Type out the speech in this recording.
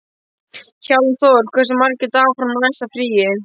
Hjálmþór, hversu margir dagar fram að næsta fríi?